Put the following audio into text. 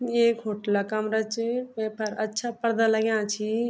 ये एक होटला कमरा च वेफर अच्छा पर्दा लग्यां छी।